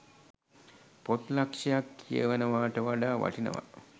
පොත් ලක්ෂයක් කියවනවාට වඩා වටිනවා.